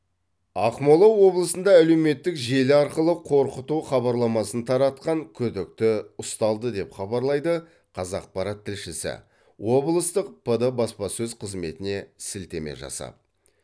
ақмола облысында әлеуметтік желі арқылы қорқыту хабарламасын таратқан күдікті ұсталды деп хабарлайды қазақпарат тілшісі облыстық пд баспасөз қызметіне сілтеме жасап